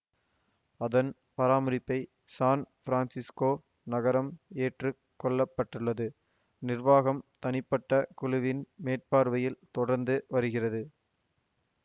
அதன் பராமரிப்பை San Francisco நகரம் ஏற்று கொண்டுள்ளது நிர்வாகம் தனிப்பட்ட குழுவின் மேற்பார்வையில் தொடர்ந்து வருகிறது